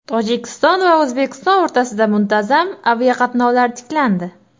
Tojikiston va O‘zbekiston o‘rtasida muntazam aviaqatnovlar tiklandi.